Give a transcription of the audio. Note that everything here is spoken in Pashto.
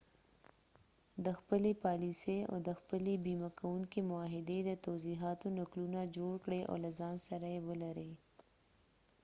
د خپلې پالیسۍ او د خپلې بیمه کونکي معاهدې د توضیحاتو نقلونه جوړ کړئ او له ځان سره يې ولرئ